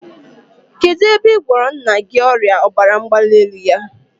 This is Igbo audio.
Kedụ ebe ị gwọrọ nna gị ọrịa ọbara mgbalielu ya?